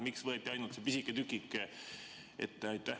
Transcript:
Miks võeti ainult see pisike tükike ette?